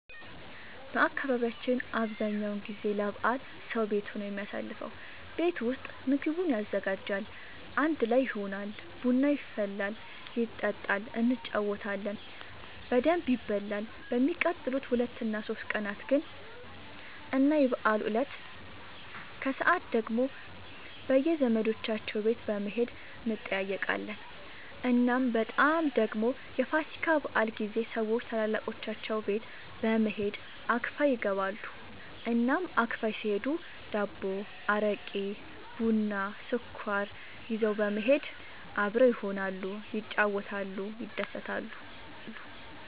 በአካባቢያችን አብዛኛው ጊዜ ለበዓል ሰዉ ቤቱ ነው የሚያሳልፈው። ቤት ውስጥ ምግቡን ያዘጋጃል፣ አንድ ላይ ይሆናል፣ ቡና ይፈላል ይጠጣል እንጫወታለን በደንብ ይበላል በሚቀጥሉት ሁለት እና ሶስት ቀናት ግን እና የበዓሉ እለት ከሰዓት ደግሞ በየዘመዶቻቸው ቤት በመሄድ እንጠያየቃለን። እናም በጣም ደግሞ የፋሲካ በዓል ጊዜ ሰዎች ታላላቆቻቸው ቤት በመሄድ አክፋይ ይገባሉ። እናም አክፋይ ሲሄዱ ዳቦ፣ አረቄ፣ ቡና፣ ስኳር ይዘው በመሄድ አብረው ይሆናሉ፣ ይጫወታሉ፣ ይደሰታሉ።